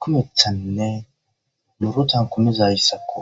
kumethanne murotan kumizayssakko.